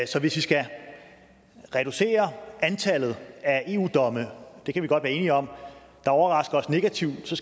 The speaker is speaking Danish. så hvis vi skal reducere antallet af eu domme det kan vi godt være enige om der overrasker os negativt så